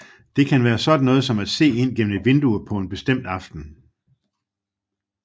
Det kan være sådan noget som at se ind gennem et vindue på en bestemt aften